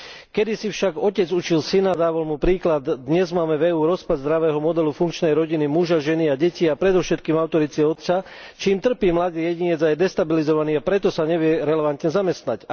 Kedysi však otec učil syna, dával mu príklad dnes máme v EÚ rozpad zdravého modelu funkčnej rodiny muža, ženy a detí, a predovšetkým autority otca, čím trpí mladý jedinec a je destabilizovaný, a preto sa nevie relevantne zamestnať.